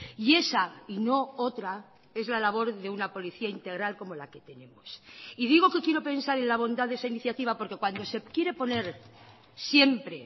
y esa y no otra es la labor de una policía integral como la que tenemos y digo que quiero pensar en la bondad de esa iniciativa porque cuando se quiere poner siempre